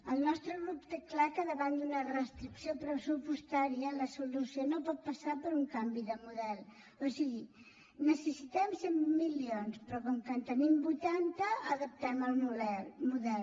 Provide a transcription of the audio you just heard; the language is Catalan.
el nostre grup té clar que davant d’una restricció pressupostària la solució no pot passar per un canvi de model o sigui necessitem cent milions però com que en tenim vuitanta adaptem el model